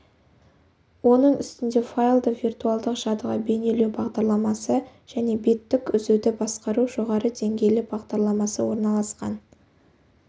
оның үстінде файлды виртуалдық жадыға бейнелеу бағдарламасы және беттік үзуді басқару жоғары деңгейлі бағдарламасы орналасқан